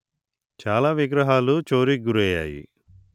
చాలా విగ్రహాలు చోరికి గురయ్యాయి